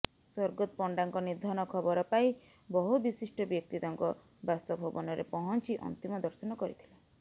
୰ ପଣ୍ଡାଙ୍କ ନିଧନ ଖବର ପାଇ ବବହୁ ବିଶିଷ୍ଟ ବ୍ୟକ୍ତି ତାଙ୍କ ବାସଭବନରେ ପହଞ୍ଚି ଅନ୍ତିମ ଦର୍ଶନ କରିଥିଲେ